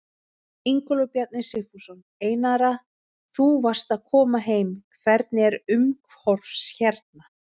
Ingólfur Bjarni Sigfússon: Einara þú varst að koma heim, hvernig er umhorfs hérna?